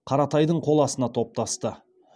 қаратайдың қол астына топтасты